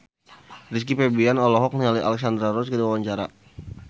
Rizky Febian olohok ningali Alexandra Roach keur diwawancara